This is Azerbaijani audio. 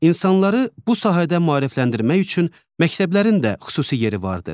İnsanları bu sahədə maarifləndirmək üçün məktəblərin də xüsusi yeri vardır.